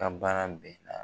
An ban na bɛɛ la.